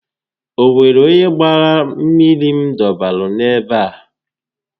O nwere onye gbaara mmiri m dọbara n'ebe a